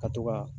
Ka to ka